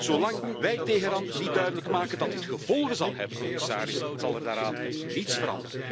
Zolang wij Teheran niet duidelijk maken dat dit gevolgen zal hebben, commissaris, zal er daaraan niets veranderen.